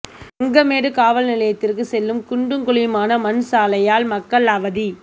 வெங்கமேடு காவல் நிலையத்திற்கு செல்லும் குண்டும் குழியுமான மண் சாலையால் மக்கள் அவதி